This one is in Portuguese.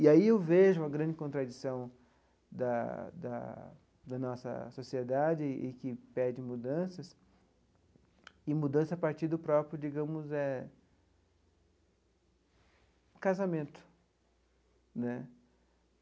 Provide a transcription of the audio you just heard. E aí eu vejo a grande contradição da da da nossa sociedade, e que pede mudanças, e mudança a partir do próprio, digamos eh, o casamento né.